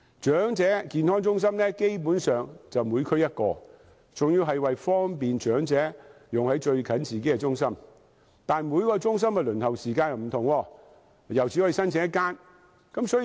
長者健康中心基本上每區一間，原意是為方便長者使用就近自己的中心，但每一間中心的輪候時間不同，而且只可以申請一間中心。